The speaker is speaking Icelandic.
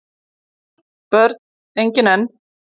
Börn: engin enn